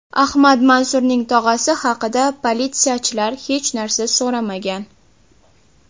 Ahmad Mansurning tog‘asi haqida politsiyachilar hech narsa so‘ramagan.